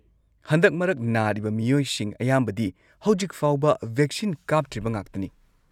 ꯍꯟꯗꯛ ꯃꯔꯛ ꯅꯥꯔꯤꯕ ꯃꯤꯑꯣꯏꯁꯤꯡ ꯑꯌꯥꯝꯕꯗꯤ ꯍꯧꯖꯤꯛꯐꯥꯎꯕ ꯚꯦꯛꯁꯤꯟ ꯀꯥꯞꯇ꯭ꯔꯤꯕ ꯉꯥꯛꯇꯅꯤ꯫